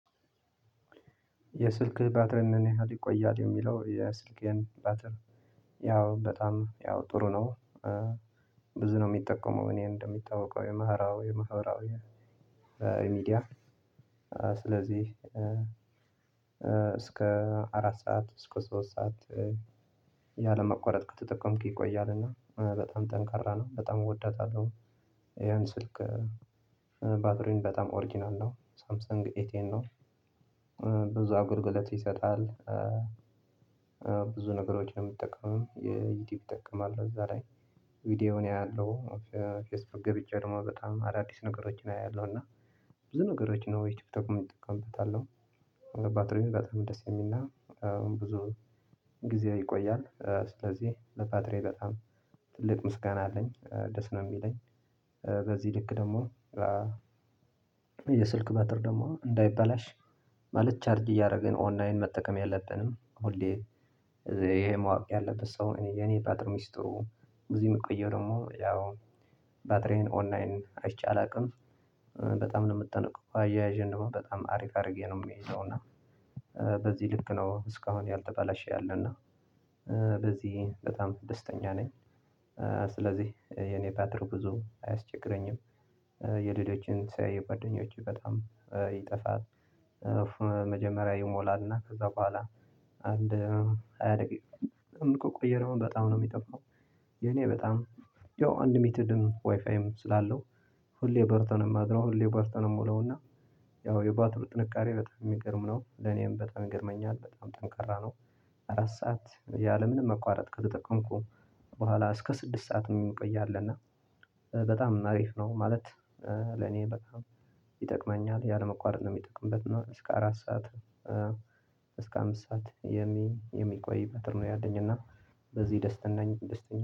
የስልክህ ባትሪ ምን? ያህል ይቆያል የሚለው የስልኬየን ባትር ያው በጣም ያው ጥሩ ነው። ብዙ ነው ሚጠቀመው እኔ እንደሚታወበቀው የማህራዊ የማህበራዊ ሚዲያ ስለዚህ እስከ አራት ሰዓት እስከ ሶስት ሰዓት ያለማቋረጥ ከተጠቀምኩ ይቆያል። እና በጣም ጠንካራ ነው በጣም እወደዳታለሁ ይሄን ስልክ ባትሪም በጣም ኦርጅናል ነው ሳምሰንግ ኤቴን ነው። ብዙ አጉልጉለት ይሰጣል። ብዙ ነገሮችን የሚጠቀሙ የዩቲዩብ እጠቀማለሁ እዛ ላይ ቪዲዮውን አያለሁ ፌስቡክ ገብቼ ደሞ በጣም አዳዲስ ነገሮችን አያለሁ እና ብዙ ነገሮች ነው ቲክቶክም ጠቀምበታለሁ። ለባትሪየ በጣም ደስ የሚልና ብዙ ጊዜ ይቆያል ስለዚህ ለባትርየ በጣም ትልቅ ምስጋና አለኝ ደስ ነው የሚለኝ። በዚህ ልክ ደግሞ የስልክ ባትሪ ደግሞ እንዳይበላሽ ማለት ቻርጅ እያደረግን ኦንላይን መጠቀም የለብንም ሁሌ። ይሄ ማወቅ ያለበት ሰው እኔ የኔ ፓትር ሚስቱ ብዙ የምቆየው ደግሞ ያው ባትሪን ኦንላይን አይቼ አላቅም። በጣም ነው ምትጠነቀቀው አያያዤን ደግሞ በጣም አሪፍ አድርጌ ነው ምይዘው እና በዚህ ልክ ነው እስካሁን ያልተባለሽ ያለ እና በዚህ በጣም ደስተኛ ነኝ። ስለዚህ የኔ ባትሪ ብዙ አያስቸግረኝም። የሌሎችን ሳይ የጓደኞች በጣም ይጠፋል። መጀመሪያ ይሞላልና ከዛ በኋላ አንድ ሃያ ደቂቃ ከቆየ ደሞ በጣም ነው ሚደክመው። የኔ በጣም ያው አንሊምትድ ዋይፋይም ስላለው ሁሌ በርቶ ነው የሚያድረው ሁሌ በርቶ ነው የሚውለውና ያው የባትሩ ጥንካሬ በጣም የሚገርም ነው። ለኔም በጣም ይገርመኛል በጣም ጠንካራ ነው። አራት ሰዓት ያለምንም መቋረጥ ከተጠቀምኩ በኋላ እስከ ስድስት ሰዓትም ይቆያልና በጣም አሪፍ ነው ማለት። ለኔ በጣም ይጠቅመኛል ያለመቋረጥ ነው ሚጠቅምበት እና እስከ አራት ሰዓት። እስከ አምስት ሰዓት የሚ የሚቆይ ፓተር ነው ያለኝ እና በዚህ ደስተኛ ነኝ